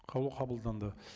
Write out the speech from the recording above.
қаулы қабылданды